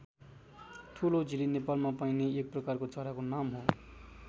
ठुलो झिली नेपालमा पाइने एक प्रकारको चराको नाम हो।